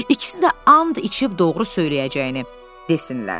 İkisi də and içib doğru söyləyəcəyini desinlər.